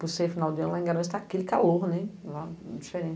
Por ser final de ano, lá em Garanhuns está aquele calor, né, lá é